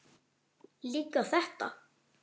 Líka þetta.